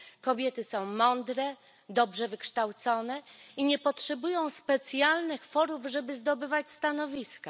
Kobiety są mądre, dobrze wykształcone i nie potrzebują specjalnych forów, żeby zdobywać stanowiska.